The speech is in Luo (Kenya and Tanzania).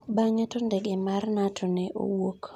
Bang'e to ndege mar Nato ne owuok.